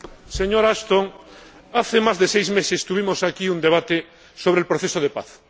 Señora Ashton, hace más de seis meses celebramos aquí un debate sobre el proceso de paz.